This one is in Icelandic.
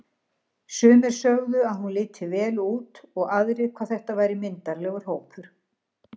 Sumir sögðu að hún liti vel út og aðrir hvað þetta væri myndarlegur hópur.